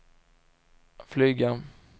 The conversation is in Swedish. flyga